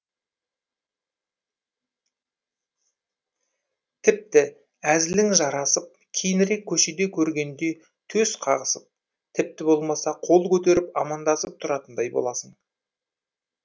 тіпті әзілің жарасып кейінірек көшеде көргенде төс қағысып тіпті болмаса қол көтеріп амандасып тұратындай боласың